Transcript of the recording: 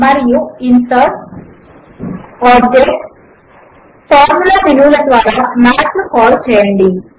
మరియు ఇన్సర్టోగ్టోబ్జెక్ట్గ్ఫార్ఫార్ముల మేను ల ద్వారా మాథ్ ను కాల్ చేయండి